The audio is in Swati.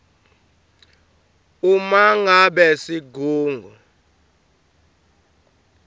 uma ngabe sigungu